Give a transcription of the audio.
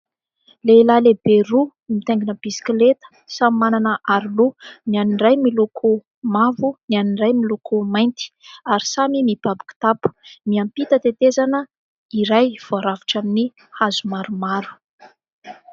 Lehilahy lehibe roa mitaingina bisikilety, samy manana aro loha : ny an'ny iray miloko mavo, ny an'ny iray miloko mainty ary samy mibaby kitapo ; miampita tetezana iray voarafitra amin'ny hazo maromaro.